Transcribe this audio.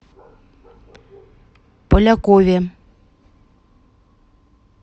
полякове